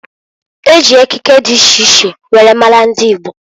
E ji ekike di iche iche were maara ndi Igbo.